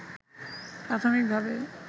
প্রাথমিক ভাবে